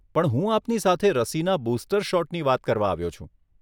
પણ હું આપની સાથે રસીના બુસ્ટર શોટની વાત કરવા આવ્યો છું.